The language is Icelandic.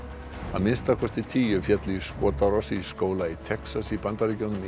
það minnsta tíu féllu í skotárás í skóla í Texas í Bandaríkjunum